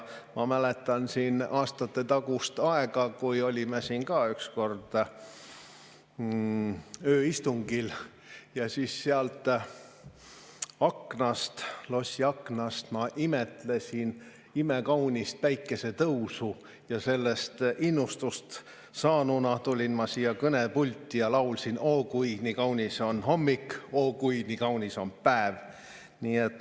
Ma mäletan aastatetagust aega, kui olime siin ka ükskord ööistungil ja siis sealt lossi aknast ma imetlesin imekaunist päikesetõusu ning sellest innustust saanuna tulin ma siia kõnepulti ja laulsin: "Oo, kui nii kaunis on hommik, oo, kui nii kaunis on päev!